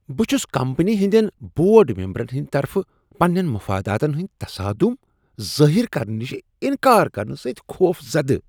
بہٕ چھس کمپٔنی ہنٛدین بورڈ ممبرن ہٕنٛد طرفہٕ پننین مفاداتن ہٕنٛدۍ تصادم ظاہر کرنہٕ نشہ انکار کرنہٕ سۭتۍخوفزدہ۔